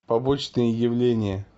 побочные явления